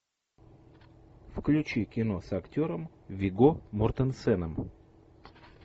включи кино с актером вигго мортенсеном